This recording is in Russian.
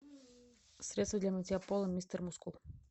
средство для мытья пола мистер мускул